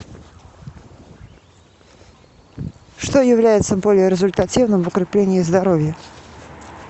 что является более результативным в укреплении здоровья